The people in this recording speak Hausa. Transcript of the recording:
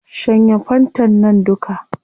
Shanye fantan nan duka